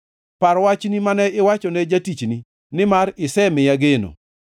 Par wachni mane iwacho ne jatichni, nimar isemiya geno.